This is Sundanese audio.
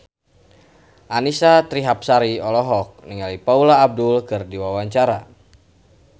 Annisa Trihapsari olohok ningali Paula Abdul keur diwawancara